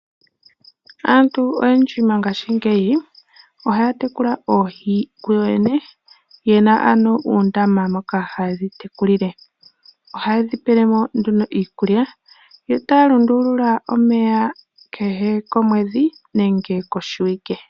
Aantu oyendji mongashingeyi ohaya tekula oohi kuyo yene yena ano uundama moka haye dhitekulile. Ohaye dhi pele mo nduno iikulya yo taya lundulula omeya kehe komwedhi nenge koshiwike.